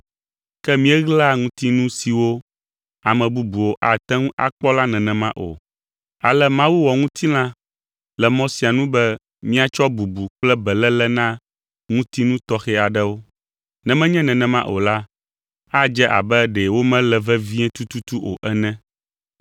ke míeɣlaa ŋutinu siwo ame bubuwo ate ŋu akpɔ la nenema o. Ale Mawu wɔ ŋutilã le mɔ sia nu be míatsɔ bubu kple beléle na ŋutinu tɔxɛ aɖewo, ne menye nenema o la, adze abe ɖe womele vevie tututu o ene.